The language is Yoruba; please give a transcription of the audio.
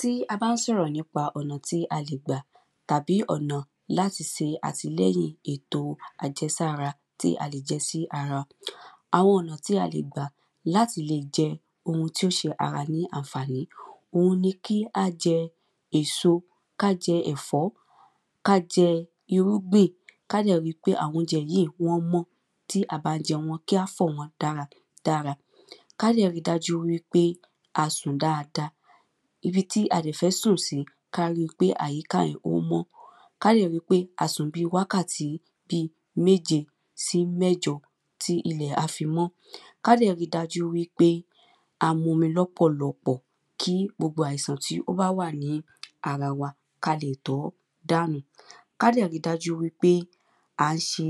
Tí a bá ń sọ̀rọ̀ nípa ọ̀nà tí a lè gbà tàbí ọ̀nà láti se àtìlẹyìn èto àjẹsára tí a lè jẹ sí ara. Àwọn ọ̀nà tí a lè gbà láti lè jẹ ohun tí ó se ara ní ànfàní. Òhun ni kí á jẹ èso, ká jẹ ẹ̀fọ́, ká jẹ irúgbìn. Ká dẹ̀ ri pé àwọn oúnjẹ yíì wọ́n mọ́. Tí a bá fẹ́ jẹ, wọ́n kí á fọ̀ wọ́n dáradára. Ká dẹ̀ ri dájú pé a sùn dada. Ibi tí a dẹ̀ fẹ́ sùn sí ká ri pé àyíká yẹn ó mọ́. Ká dẹ̀ ri pé a sùn bi wákàtí bi méje sí mẹ́jọ. Tí ilẹ̀ á fi mọ́. Ka dẹ̀ ri dájú pé a mumi lọpọ̀lọpọ̀. Kí gbogbo àìsàn tó wà ní ara wa ká leè tọ́ dànù. Ká dẹ̀ ri dájú wípé à ń se